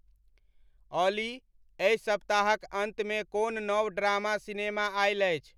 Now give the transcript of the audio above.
ऑली एहि सप्ताहक अंतमे कोन नव ड्रामा सिनेमा आएल अछि ?